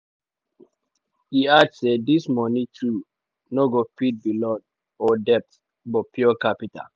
e add say dis moni too no go fit be loan or debts but pure capital.